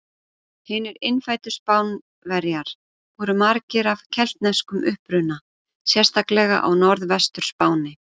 Hinir innfæddu Spánverjar voru margir af keltneskum uppruna sérstaklega á Norðvestur-Spáni.